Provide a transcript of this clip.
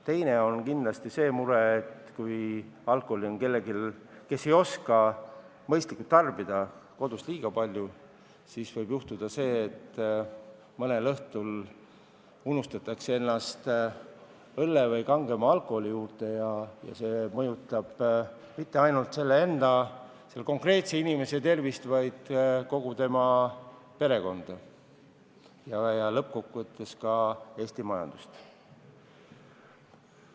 Teine mure kindlasti on see, et kui alkoholi on kellelgi, kes ei oska mõistlikult tarbida, kodus liiga palju, siis võib juhtuda, et mõnel õhtul unustatakse ennast õlle või kangema alkoholi juurde ja see ei mõjuta mitte ainult selle konkreetse inimese tervist, vaid kogu tema perekonda ja lõppkokkuvõttes ka Eesti majandust.